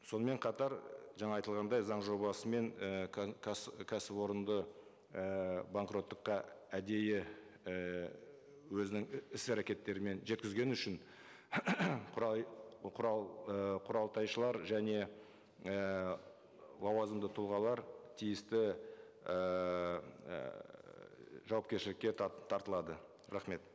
сонымен қатар жаңа айтылғандай заң жобасымен і кәсіпорынды і банкроттыққа әдейі ііі өзінің іс әрекеттерімен жеткізгені үшін құралтайшылар және ііі лауазымды тұлғалар тиісті ііі жауапкершілікке тартылады рахмет